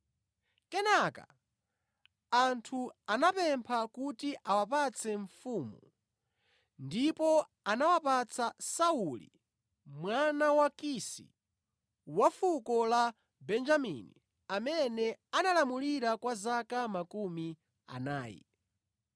Kenaka anthu anapempha kuti awapatse mfumu, ndipo anawapatsa Sauli mwana wa Kisi, wa fuko la Benjamini amene analamulira zaka makumi anayi.